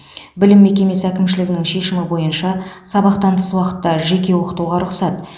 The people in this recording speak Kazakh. білім мекемесі әкімшілігінің шешімі бойынша сабақтан тыс уақытта жеке оқытуға рұқсат